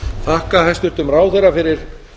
þakka hæstvirtum ráðherra fyrir